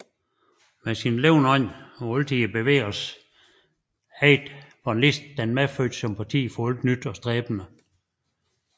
Med sin levende ånd og altid i bevægelse ejede von Liszt den medfødte sympati for alt nyt og stræbende